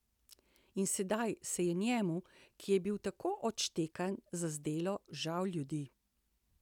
In sedaj se je njemu, ki je bil tako odštekan, zazdelo žal ljudi.